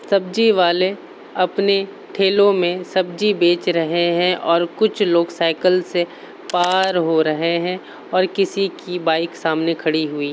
सब्जीवाले अपने ठेलो में सब्जी बेच रहें हैं और कुछ लोग साइकिल से पार हो रहें हैं और किसी की बाइक सामने खड़ी हुई --